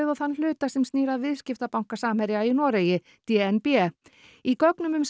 og þann hluta sem snýr að viðskiptabanka Samherja í Noregi d n b í gögnum um